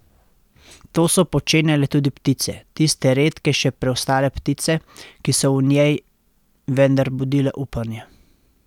To so počenjale tudi ptice, tiste redke še preostale ptice, ki so v njej vendar budile upanje.